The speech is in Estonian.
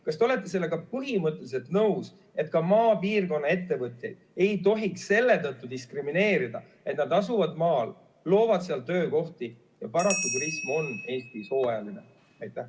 Kas te olete sellega põhimõtteliselt nõus, et ka maapiirkonna ettevõtjaid ei tohiks selle tõttu diskrimineerida, et nad asuvad maal, loovad seal töökohti ja paraku turism on Eestis hooajaline?